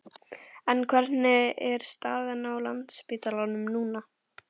En hvernig er staðan á Landspítalanum núna?